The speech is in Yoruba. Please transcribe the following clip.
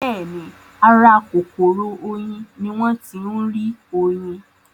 Bẹ́ẹ̀ni, ara kòkòrò oyin ní wọ́n ń tí rí oyin